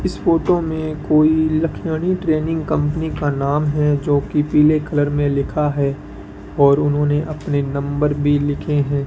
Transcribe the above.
इस फोटो में कोई लख्यानी ट्रेनिंग कंपनी का नाम है जो कि पीले कलर में लिखा है और उन्होंने अपने नंबर भी लिखे हैं।